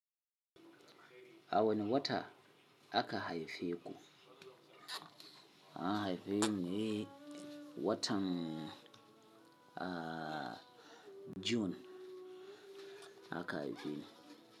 A wani wata aka haife ku. An haife ni watan June aka haife ni.